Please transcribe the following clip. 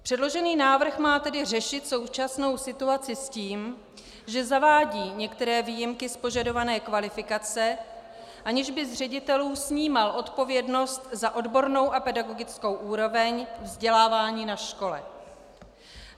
Předložený návrh má tedy řešit současnou situaci s tím, že zavádí některé výjimky z požadované kvalifikace, aniž by z ředitelů snímal odpovědnost za odbornou a pedagogickou úroveň vzdělávání na škole.